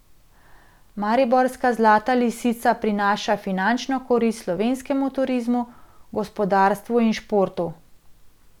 Mariborska Zlata lisica prinaša finančno korist slovenskemu turizmu, gospodarstvu in športu.